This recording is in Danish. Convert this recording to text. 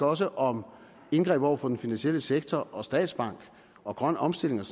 også om indgreb over for den finansielle sektor og statsbank og grøn omstilling og